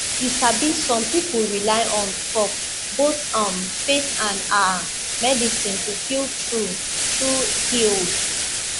you sabi some pipo rely on top both um faith and ah medicine to feel true true healed